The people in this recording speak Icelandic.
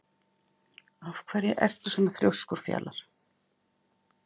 Af hverju ertu svona þrjóskur, Fjalar?